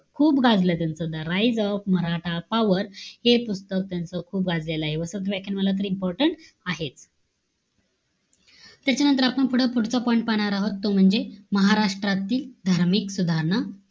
खूप गाजलं त्यांचं. the raise of maratha power हे पुस्तक, त्यांचं खूप गाजलेलं आहे. वसंत व्याख्यानमाला तर important आहेच. त्याच्यानंतर आपण पुढे पुढचा point पाहणार आहोत. तो म्हणजे, महाराष्ट्रातली धार्मिक सुधारणा,